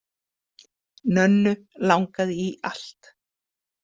Nönnu langaði í allt.